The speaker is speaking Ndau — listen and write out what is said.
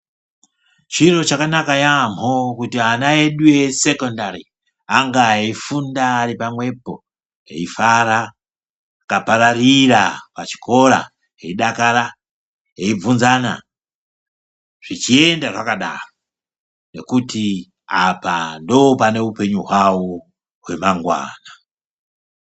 Chiro chakanama yampho kuti ana edu esekendari ange eyifunda ari pamwepo eyifara aka pararira pachikora eidakara eibvunzana zvichienda zvakadaro ngekuti apa ndopane upenyu hwawo hwemangwana .